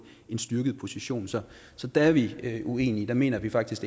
styrket position så så der er vi uenige der mener vi faktisk